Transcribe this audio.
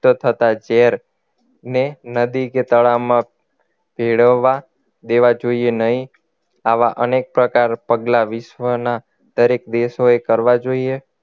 થતા ઝેર ને નદી કે તળાવમાં ભેળવવા દેવા જોઈએ નહીં આવા અનેક પ્રકાર પગલાં વિશ્વના દરેક દેશોએ કરવા જોઈએ